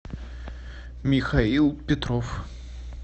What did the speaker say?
михаил петров